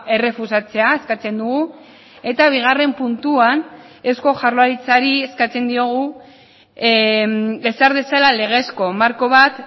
errefusatzea eskatzen dugu eta bigarren puntuan eusko jaurlaritzari eskatzen diogu ezar dezala legezko marko bat